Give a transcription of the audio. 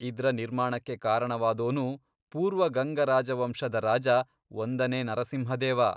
ಇದ್ರ ನಿರ್ಮಾಣಕ್ಕೆ ಕಾರಣವಾದೋನು ಪೂರ್ವ ಗಂಗ ರಾಜವಂಶದ ರಾಜ ಒಂದನೇ ನರಸಿಂಹದೇವ.